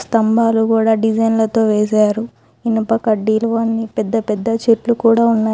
స్థంభాలు కూడా డిజైన్లతో వేశారు. ఇనుప కడ్డీలు అన్నీ పెద్ద పెద్ద చెట్లు కూడా ఉన్నాయి.